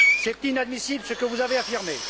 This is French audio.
C'est inadmissible ce que vous avez affirmé.